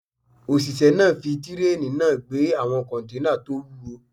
Òṣìṣẹ́ náà fi kírénì náà gbé àwọn kọ́nténà tó wúwo